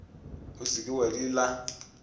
o se ke wa di